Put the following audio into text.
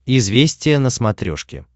известия на смотрешке